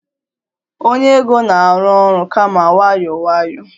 onye ego na-arụ ọrụ kama nwayọọ nwayọọ